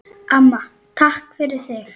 Amma, takk fyrir þig.